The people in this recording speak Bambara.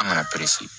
An kana pɛre